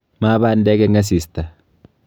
Ma bandek eng asista.